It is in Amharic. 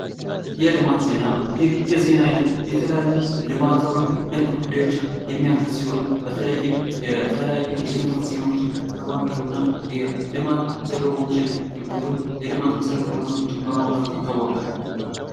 የልማት ዜና ይህ የዜና አይነት የተለያዩ ልማታዊ ነክ ጉዳዮችን የሚያትት ሲሆን በተለይም የተለያዩ የልማት ዜናዎችን በማቅረብ የልማት ዜናዎችን ወይንም መሰረተ ልማቶችን በማውራት ይታወቃል።